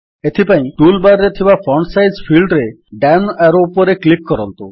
ଏଥିପାଇଁ tool bar ରେ ଥିବା ଫଣ୍ଟ୍ ସାଇଜ୍ ଫିଲ୍ଡରେ ଡାଉନ୍ ଆରୋ ଉପରେ କ୍ଲିକ୍ କରନ୍ତୁ